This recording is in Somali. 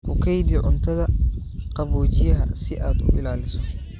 Ku kaydi cuntada qaboojiyaha si aad u ilaaliso.